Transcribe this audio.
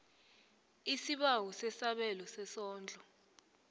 isibawo sesabelo sesondlo